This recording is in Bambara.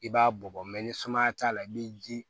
I b'a bɔ ni sumaya t'a la i bi ji